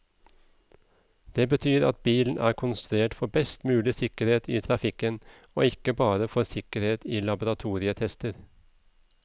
Det betyr at bilen er konstruert for best mulig sikkerhet i trafikken, og ikke bare for sikkerhet i laboratorietester.